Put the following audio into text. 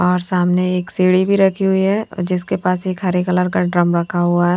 और सामने एक सीढ़ी भी रखी हुई है जिसके पास एक हरे कलर का ड्रम रखा हुआ है।